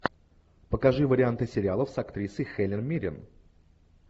покажи варианты сериалов с актрисой хелен миррен